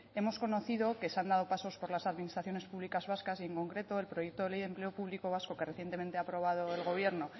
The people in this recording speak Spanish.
hemos conocido que se han dado pasos por las administraciones públicas vascas y en concreto el proyecto de ley de empleo público vasco que recientemente ha aprobado el gobierno